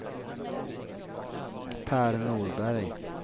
Pär Norberg